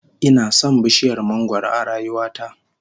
Ina son bishiyar mangwaro a rayuwa ta